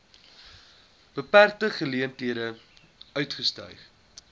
beperkte geleenthede uitgestyg